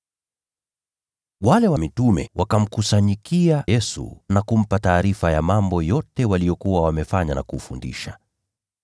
Wale mitume wakakusanyika kwa Yesu na kumpa taarifa ya mambo yote waliyokuwa wamefanya na kufundisha.